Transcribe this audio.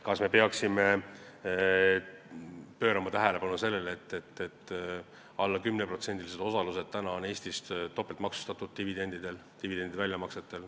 Kas me peaksime pöörama tähelepanu sellele, et alla 10%-lised osalused on Eestis dividendi väljamaksetel topeltmaksustatud?